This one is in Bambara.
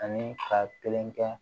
Ani ka kelen kɛ